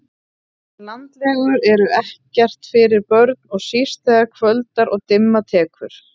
Landlegur eru ekkert fyrir börn og síst þegar kvöldar og dimma tekur